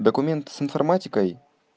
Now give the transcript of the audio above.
документы с информатикой